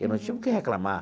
Eu não tinha o que reclamar.